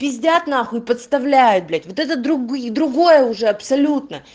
пизидят нахуй и подставляют блять вот это другое другое уже абсолютно